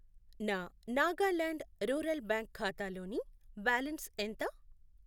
నా Nagaland rural bank ఖాతాలోని balance ఎంత?